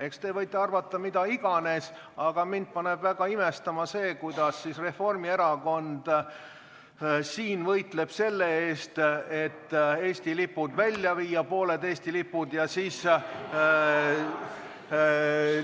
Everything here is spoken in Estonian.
Eks te võite arvata mida iganes, aga mind paneb väga imestama, kuidas Reformierakond siin võitleb selle eest, et pooled Eesti lipud välja viia, aga